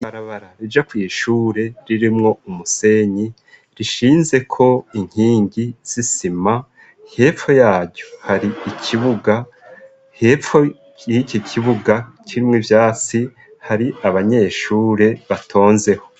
Ibarabara rija kw'ishure ririmwo umusenyi, rishinzeko inkingi z'isima. Hepfo yaryo hari ikibuga, hepfo y'iki kibuga kirimwo ivyasi hari abanyeshure batonzeho.